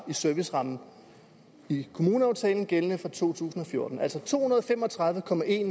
i serviceramme i kommuneaftalen gældende for to tusind og fjorten altså to hundrede og fem og tredive